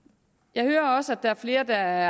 jeg hører også at der er flere der